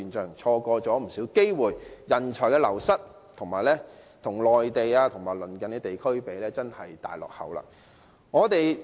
由於錯過了不少機會，加上人才流失，本港與內地及鄰近地區相比，實在是大落後。